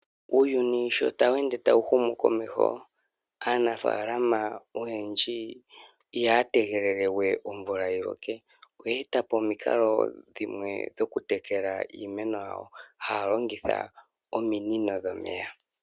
Uuyuni sho tawu ende tawuhumo komeho, aanafaalama oyendji ihaya tegelele we omvula yiloke, oya eta po omikalo dhimwe dhokutekela iimeno yawo haya longitha ominino dhomeya.